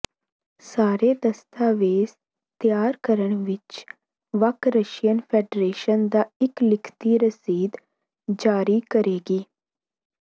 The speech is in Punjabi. ਸਾਰੇ ਦਸਤਾਵੇਜ਼ ਤਿਆਰ ਕਰਨ ਵਿੱਚ ਬਕ ਰਸ਼ੀਅਨ ਫੈਡਰੇਸ਼ਨ ਦਾ ਇਕ ਲਿਖਤੀ ਰਸੀਦ ਜਾਰੀ ਕਰੇਗੀ